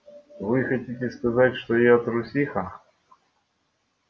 вы хотите сказать что я трусиха